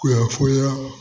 Kunnafoniya